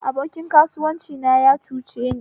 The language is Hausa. Abokin kasuwanci na ya cuceni